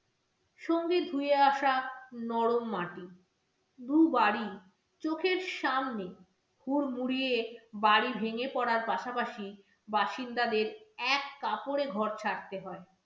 সঙ্গে ধুয়ে আসা নরম মাটি, দুবারই চোখের সামনে হুড়মুড়িয়ে বাড়ি ভেঙে পড়ার পাশাপাশি বাসিন্দাদের এক কাপড়ে ঘর ছাড়তে হয়।